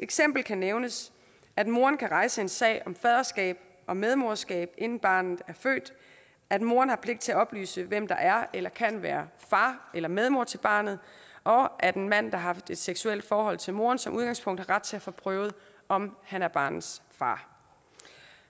eksempel kan nævnes at moren kan rejse en sag om faderskab og medmoderskab inden barnet er født at moren har pligt til at oplyse hvem der er eller kan være far eller medmor til barnet og at en mand der har haft et seksuelt forhold til moren som udgangspunkt har ret til at få prøvet om han er barnets far